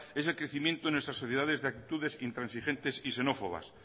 es el crecimiento en nuestras sociedades de actitudes intransigentes y xenófobas